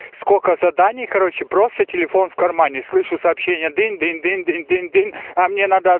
сколько заданий короче просто телефон в кармане слышу сообщение динь-динь-динь динь-динь-динь а мне надо